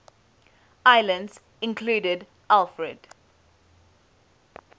islands included alfred